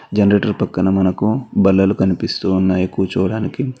Generator పక్కన మనకు బల్లాలు కనిపిస్తూ ఉన్నాయి కూర్చోడానికి.